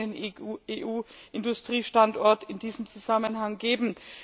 Es muss einen eigenen EU Industriestandort in diesem Zusammenhang geben.